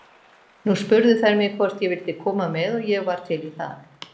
Nú spurðu þær mig hvort ég vildi koma með og ég var til í það.